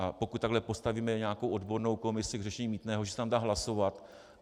A pokud takhle postavíme nějakou odbornou komisi k řešení mýtného, že se tam dá hlasovat.